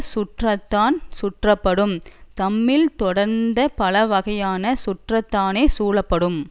சுற்றத்தான் சுற்றப்படும் தம்மில் தொடர்ந்த பல வகை சுற்றத்தானே சூழப்படும்